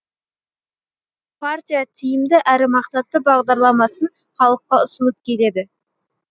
партия тиімді әрі мақсатты бағдарламасын халыққа ұсынып келеді